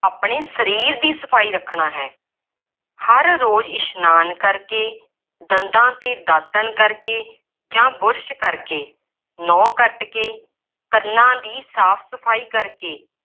ਆਪਣੇ ਸਰੀਰ ਦੀ ਸਫਾਈ ਰੱਖਣਾ ਹੈ। ਹਰ ਰੋਜ਼ ਇਸ਼ਨਾਨ ਕਰਕੇ, ਦੰਦਾਂ 'ਤੇ ਦਾਤਣ ਕਰਕੇ ਜਾਂ ਬੁਰਸ਼ ਕਰਕੇ, ਨਹੁੰ ਕੱੱਟ ਕੇ, ਕੰਨਾਂ ਦੀ ਸਾਫ ਸਫਾਈ ਕਰਕੇ